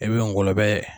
I bɛ ngɔlɔlɔbɛ